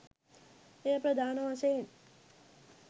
එය ප්‍රධාන වශයෙන්